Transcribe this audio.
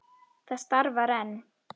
Það starfar enn.